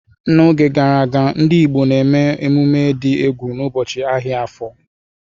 N'oge gara aga, ndị Igbo na-eme emume dị egwu n'ụbọchị ahịa Afo.